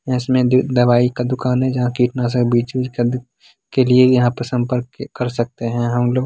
इसमें द दवाई का दुकान हैं। जहां कीटनाशक बीज वीज के लिए संपर्क क कर सकते हैं हमलोग--